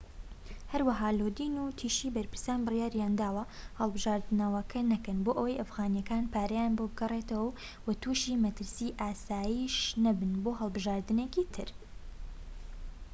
هەروەها لۆدین وتیشی بەرپرسان بڕیاریانداوە هەڵبژاردنەوەکە نەکەن بۆئەوەی ئەفغانیەکان پارەیان بۆ بگەڕێتەوەو توشی مەترسی ئاسایش نەبن بۆ هەڵبژاردنێکی تر